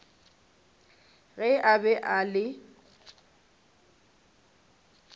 ge a be a le